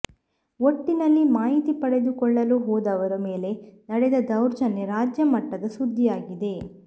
ಒಟ್ಟಿನಲ್ಲಿ ಮಾಹಿತಿ ಪಡೆದುಕೊಳ್ಳಲು ಹೋದವರ ಮೇಲೆ ನಡೆದ ದೌರ್ಜನ್ಯ ರಾಜ್ಯಮಟ್ಟದ ಸುದ್ದಿಯಾಗಿದೆ